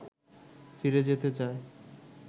ফিরে যেতে চায়